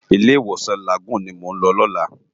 Ilé iwósan Lágúùn ni mó n lò lòlá